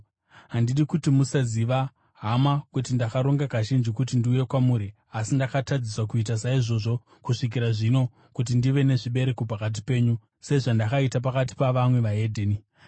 Handidi kuti musaziva, hama, kuti ndakaronga kazhinji kuti ndiuye kwamuri (asi ndakatadziswa kuita saizvozvo kusvikira zvino) kuti ndive nezvibereko pakati penyu, sezvandakaita pakati pavamwe veDzimwe Ndudzi.